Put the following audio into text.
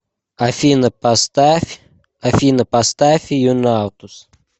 афина поставь юнаутус